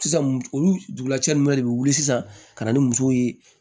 Sisan olu dugulacɛ ninnu yɛrɛ de bɛ wuli sisan ka na ni musow ye